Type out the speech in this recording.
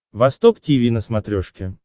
восток тиви на смотрешке